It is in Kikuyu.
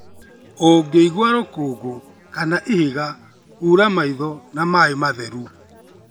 Ũngĩigua rũkũngũ kana ihiga, hũra maitho na maĩ matheru.